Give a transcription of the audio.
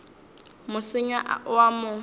mo senya o a mo